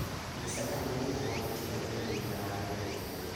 nyisa ane ni ango' ma timore mbuina mar jopiny